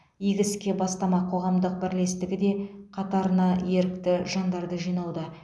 игі іске бастама қоғамдық бірлестігі де қатарына ерікті жандарды жинауда